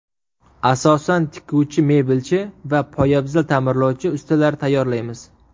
Asosan tikuvchi, mebelchi va poyabzal ta’mirlovchi ustalar tayyorlaymiz.